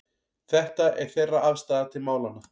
Þetta er þeirra afstaða til málanna